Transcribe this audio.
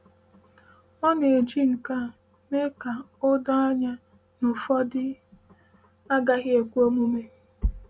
“Ọ na-eji nke a mee ka o doo anya na ihe ụfọdụ agaghị ekwe omume.”